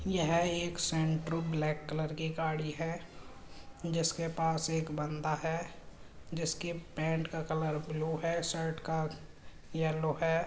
यह एक Santro black colour की गाड़ी है जिसके पास एक बन्दा है जिसके पेंट का कलर ब्लू है। शर्ट का येलो है।